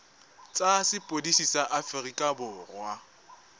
tsa sepodisi sa aforika borwa